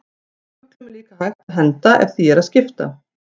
Fuglum er líka hægt að henda ef því er að skipta.